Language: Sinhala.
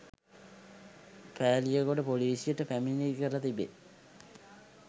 පෑලියගොඩ ‍පොලීසියට පැමිණිලි කර තිබේ.